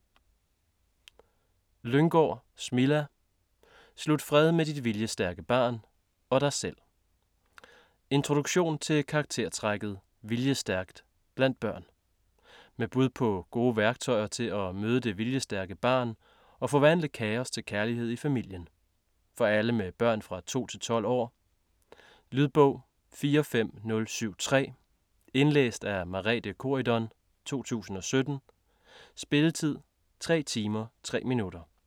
Lynggaard, Smilla: Slut fred med dit viljestærke barn - og dig selv Introduktion til karaktertrækket "viljestærkt" blandt børn. Med bud på gode værktøjer til at møde det viljestærke barn og forvandle kaos til kærlighed i familien. For alle med børn fra 2-12 år. Lydbog 45073 Indlæst af Merethe Corydon, 2017. Spilletid: 3 timer, 3 minutter.